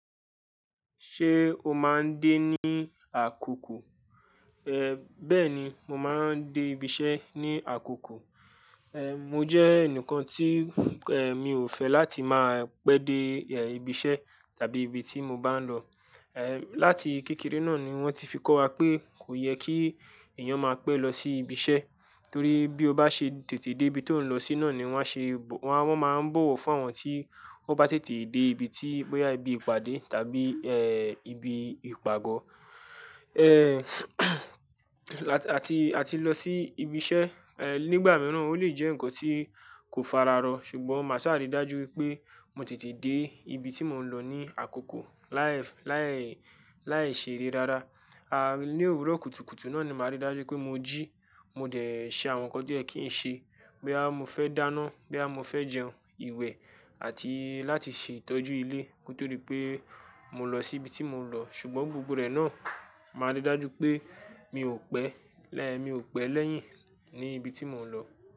Ṣé o máa ń dé ní àkókò? Ehn, bẹ́ẹ̀ni, mo máa ń dé ibi iṣẹ́ ní àkókò. Ehn, mo jẹ́ ẹnìkan tí, ehn, mi ò fẹ́ láti máa pẹ́ dé ibi iṣẹ́ tàbí ibi tí mo bá ń lọ. Ehn, láti kékeré náà ni wọ́n ti fi kọ́ wa pé kò yẹ kí èèyàn máa pẹ́ lọ sí ibi iṣẹ́ torí bí o bá ṣe tètè dé ibi tó ń lọ sí náà ni wọ́n ṣe, wọ́n máa ń bọ̀wọ̀ fún àwọn tí wọ́n bá tètè dé ibi tí, bóyá ibi ìpàdé tàbí, ehn, ibi ìpàgọ́. Ehn àti, àti lọ sí ibi iṣẹ́, ehn, nígbà mìíràn ó lè jẹ́ nǹkan tí kò fara rọ̀ ṣùgbọ́n màá sáà rí dájú wípé mo tètè dé ibi tí mò ń lọ ní àkókò láì, láì, láìṣere rara. A, ní òwúrọ̀ kùtùkùtù náà ni màá rí dájú pé mo jí, mo dẹ̀ ṣe àwọn nǹkan tí ẹ kìí ṣe, bóyá mo fẹ́ dáná, bóyá mo fẹ́ jẹun, ìwẹ̀ àti láti ṣe ìtọ́jú ilé nítorí pé mò ń lọ sí ibi tí mò ń lọ ṣùgbọ́n gbogbo rẹ̀ náà màá rí dájú pé mi ò pẹ́, ehn, mi ò pẹ́ lẹ́yìn ní ibi tí mò ń lọ.